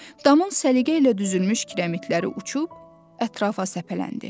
Damın səliqə ilə düzülmüş kirəmidləri uçub ətrafa səpələndi.